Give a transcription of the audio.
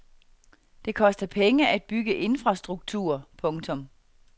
Det koster penge at bygge infrastruktur. punktum